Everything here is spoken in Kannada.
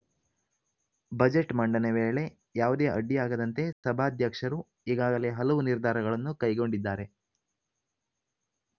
ಬಜೆಟ್‌ ಮಂಡನೆ ವೇಳೆ ಯಾವುದೇ ಅಡ್ಡಿಯಾಗದಂತೆ ಸಭಾಧ್ಯಕ್ಷರು ಈಗಾಗಲೇ ಹಲವು ನಿರ್ಧಾರಗಳನ್ನು ಕೈಗೊಂಡಿದ್ದಾರೆ